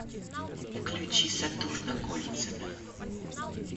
включи сатурна кольцами